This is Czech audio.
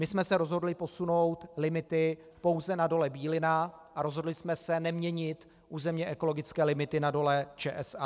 My jsme se rozhodli posunout limity pouze na Dole Bílina a rozhodli jsme se neměnit územně ekologické limity na Dole ČSA.